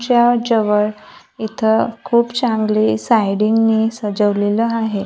च्या जवळ इथं खूप चांगली स्लाइडिंगने सजवलेलं आहे.